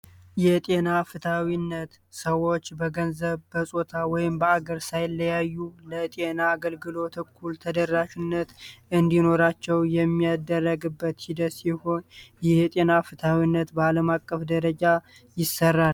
የጤና ፍታዊነት ሰዎች በገንዘ፣ በጾታ ወይም በአገር ሳይለያዩ ለጤና አገልግሎ እኩል ተደራሽነት እንዲኖራቸው የሚደረግበት ሂደት ሲሆን ይህ የጤና ፍታዊነት ባለም አቀፍ ደረጃ ይሠራል